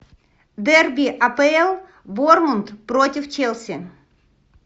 дерби апл борнмут против челси